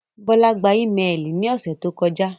Bọla gbà imẹ́ẹlí ní òṣè tó kọja.